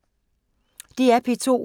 DR P2